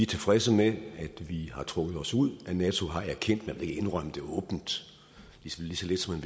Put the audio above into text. tilfredse med at vi har trukket os ud og at nato har erkendt man vil ikke indrømme det åbent lige så lidt som